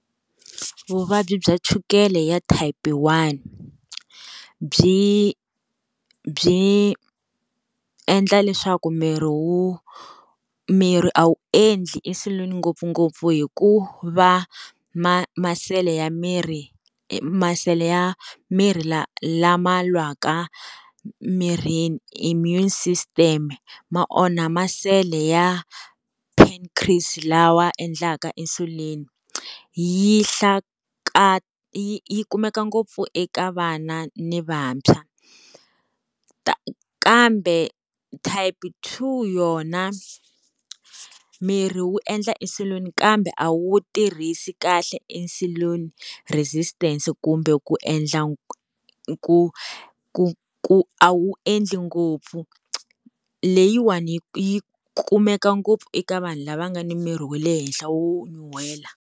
Vuvabyi bya chukele ya type one, byi byi endla leswaku miri wu miri a wu endli insulin ngopfungopfu hikuva ma masele ya miri masele, ya miri la lama lwaka mirini immune system, ma onha masele ya Pancreas lawa endlaka insulin yi yi kumeka ngopfu eka vana ni vantshwa. kambe type two yona miri wu endla insulin kambe a wu tirhisi kahle insulin resistance kumbe ku endla ku ku ku a wu endli ngopfu. Leyiwani yi kumeka ngopfu eka vanhu lava nga ni miri wa le henhla wo nyuhela.